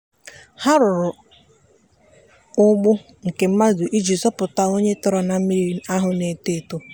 ha rụrụ agbụ nke mmadụ iji zọpụta onye tọrọ na mmiri ahụ na-eto eto.